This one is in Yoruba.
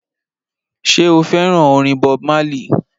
Ṣé o fẹ́ràn orin Bob Marley?